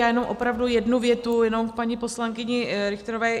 Já jenom opravdu jednu větu jenom k paní poslankyni Richterové.